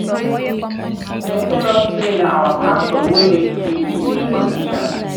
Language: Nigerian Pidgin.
tell us say na our pastor wey make peace between the two politicians.